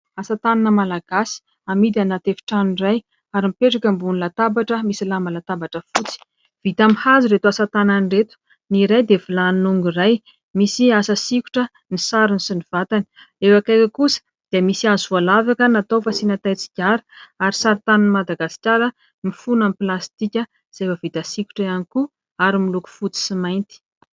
Asa tanana malagasy amidy ao anaty efitrano iray ary mpetraka eo ambony latabatra misy lamba latabatra fotsy. Vita amin'ny hazo ireto asa tanana ireto. Ny iray dia vilany nongo iray misy asa sikotra ny sarony sy ny vatany. Eo akaiky eo kosa dia misy hazo voalavaka natao fasiana tain-tsigara ary saritanin'i Madagasikara mifono amin'ny plastika efa vita sikotra ihany koa ary miloko fotsy sy mainty.